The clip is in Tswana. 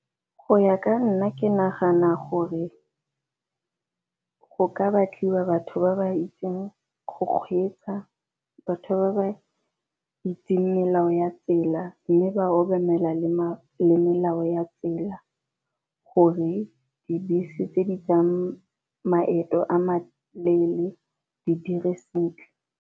Go ya ka nna ke nagana gore go ka batliwa batho ba ba itseng go kgweetsa, batho ba ba itseng melao ya tsela, mme ba obamela le melao ya tsela gore dibese tse di tsang maeto a maleele di dire sentle.